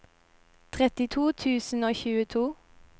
trettito tusen og tjueto